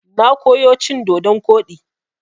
Na koyo cin dodon koɗi.